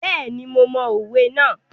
Bẹ́ẹ̀ni, mo mọ òwe náà.